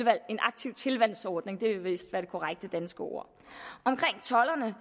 en aktiv tilvalgsordning det er vist det korrekte danske ord omkring tolderne vil